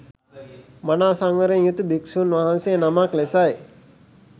මනා සංවරයෙන් යුතු භික්ෂුන් වහන්සේ නමක් ලෙසයි